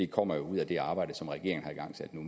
kommer jo ud af det arbejde som regeringen har igangsat nu